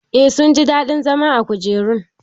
Eh sun ji daɗin zama a kujerun.